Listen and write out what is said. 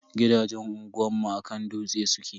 Gidajen unguwanmu a kan dutse suke.